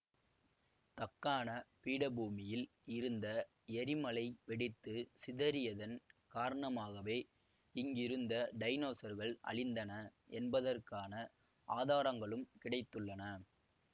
தக்காண பீடபூமியில் இருந்த எரிமலை வெடித்து சிதறியதன் காரணமாகவே இங்கிருந்த டைனோசர்கள் அழிந்தன என்பதற்கான ஆதாரங்களும் கிடைத்துள்ளன